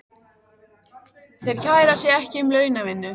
Þeir kæra sig ekki um launavinnu.